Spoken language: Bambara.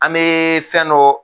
An bɛ fɛn dɔ